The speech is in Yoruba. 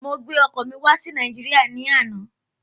Mo gbé ọkọ típpà wá sí Nàìjíríà ní àna